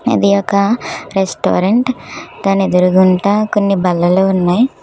ఇది ఒక రెస్టారెంట్ దాని ఎదురుగుంటా కొన్ని బల్లలు ఉన్నాయ్.